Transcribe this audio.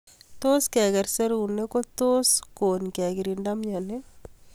Tos keker serunek kotos kon kekirinda mnyeni